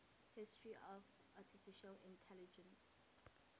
history of artificial intelligence